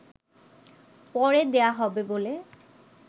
পরে দেয়া হবে বলে